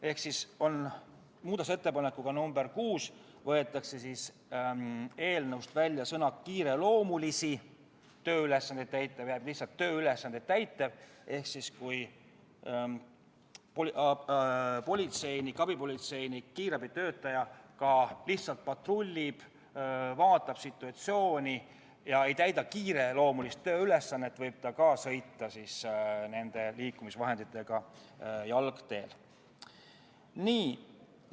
Niisiis, muudatusettepanekuga nr 6 võetakse eelnõust välja sõna "kiireloomulisi", jääb lihtsalt „tööülesandeid täitev“ ehk ka siis, kui politseinik, abipolitseinik või kiirabitöötaja lihtsalt patrullib, vaatab situatsiooni ja ei täida kiireloomulist tööülesannet, võib ta nende liikumisvahenditega jalgteel sõita.